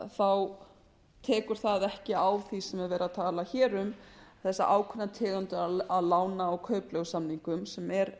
þá tekur það ekki á því sem verið er að tala um þessa ákveðnu tegund lána og kaupleigusamningum sem er